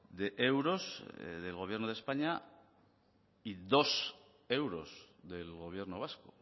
de euros del gobierno de españa y dos euros del gobierno vasco